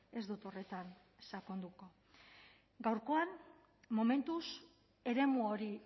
ez dut horretan sakonduko gaurkoan momentuz eremu hori